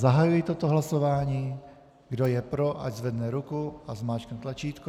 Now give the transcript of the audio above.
Zahajuji toto hlasování, kdo je pro, ať zvedne ruku a zmáčkne tlačítko.